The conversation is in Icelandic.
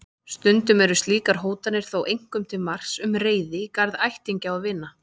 Stundum eru slíkar hótanir þó einkum til marks um reiði í garð ættingja og vina.